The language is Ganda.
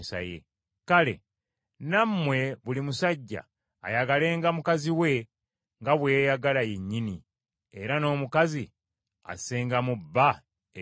Kale, nammwe buli musajja ayagalenga mukazi we nga bwe yeeyagala yennyini, era n’omukazi assengamu bba ekitiibwa.